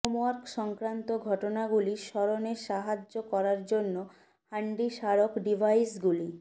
homework সংক্রান্ত ঘটনাগুলি স্মরণে সাহায্য করার জন্য হ্যান্ডি স্মারক ডিভাইসগুলি